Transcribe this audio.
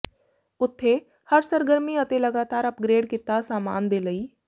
ਉਥੇ ਹਰ ਸਰਗਰਮੀ ਅਤੇ ਲਗਾਤਾਰ ਅਪਗ੍ਰੇਡ ਕੀਤਾ ਸਾਮਾਨ ਦੇ ਲਈ